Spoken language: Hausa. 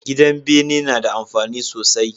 Gidan bene nada amfani sosai